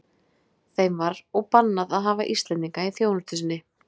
Þeim var og bannað að hafa Íslendinga í þjónustu sinni.